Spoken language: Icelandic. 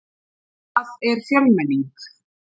Hvað er fjölmenning?